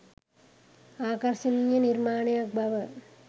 ආකර්ශනීය නිර්මාණයක් බව